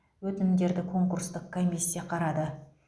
өтінімдерді конкурстық комиссия қарады